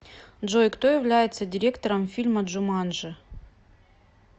джой кто является директором фильма джуманжи